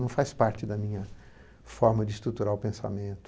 Não faz parte da minha forma de estruturar o pensamento.